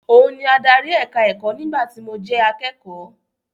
Òun ni adarí ẹ̀ka-ẹ̀kọ́ nígbà tí mo jẹ akẹ́kọ̀ọ́.